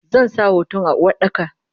Zansa hoton a Uwardaka.